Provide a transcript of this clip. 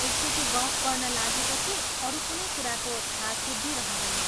एकचोटि गफ गर्न लागेपछि अरू कुनै कुराको थाहा सुद्धी रहँदैन।